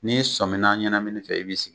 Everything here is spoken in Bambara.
N'i sɔnminna ɲɛnamini fɛ i b'i sigi.